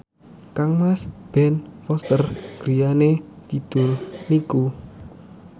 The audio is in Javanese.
kangmas Ben Foster griyane kidul niku